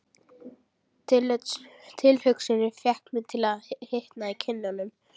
Tilhugsunin fékk mig til að hitna í kinnunum.